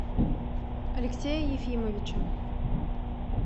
алексея ефимовича